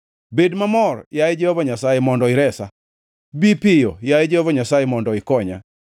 Bed mamor, yaye Jehova Nyasaye, mondo iresa. Bi piyo, yaye Jehova Nyasaye, mondo ikonya.